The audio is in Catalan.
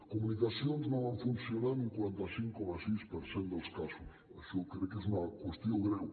comunicacions no van funcionar en un quaranta cinc coma sis per cent dels casos això crec que és una qüestió greu